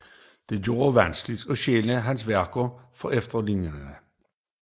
Det gjorde det vanskeligt at skelne hans værker fra efterlignerne